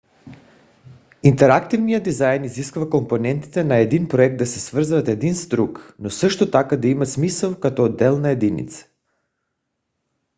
интерактивният дизайн изисква компонентите на един проект да се свързват един с друг но също така да имат смисъл като отделна единица